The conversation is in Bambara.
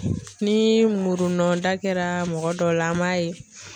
Ni murunda kɛra mɔgɔ dɔw la an b'a ye.